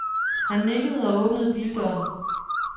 Han nikkede og åbnede bildøren.